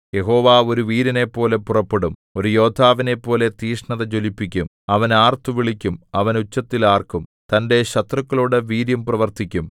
യഹോവ ഒരു വീരനെപ്പോലെ പുറപ്പെടും ഒരു യോദ്ധാവിനെപ്പോലെ തീക്ഷ്ണത ജ്വലിപ്പിക്കും അവൻ ആർത്തുവിളിക്കും അവൻ ഉച്ചത്തിൽ ആർക്കും തന്റെ ശത്രുക്കളോടു വീര്യം പ്രവർത്തിക്കും